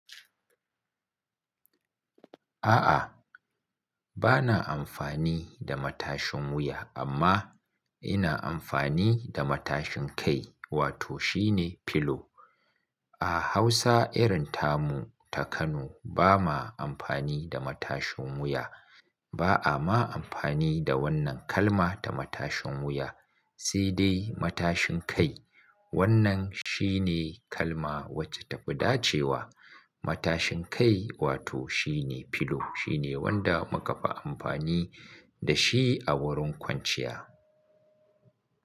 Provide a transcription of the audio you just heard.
A'a, ba na amfani da matashin wuya amma ina amfani da matashin kai wato shine pillow. A Hausa irin tamu ta Kano ba ma amfani da matashin wuya. Ba a ma amfani da wannan kalma ta matashin wuya, sai dai matashin kai. Wannan shine kalma wacce ta fi ɗace wa matashin kai wato shine pillow. Shine wanda muka fi amfani da shi a wurin kwanciya.